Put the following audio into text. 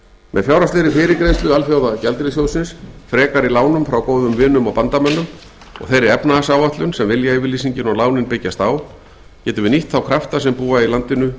með fjárhagslegri fyrirgreiðslu alþjóðagjaldeyrissjóðsins frekari lánum frá góðum vinum og bandamönnum og þeirri efnahagsáætlun sem viljayfirlýsingin og lánin byggjast á getum við nýtt þá krafta sem búa í landinu